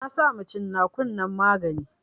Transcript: Na sama cin nakun nan magani